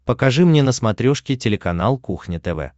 покажи мне на смотрешке телеканал кухня тв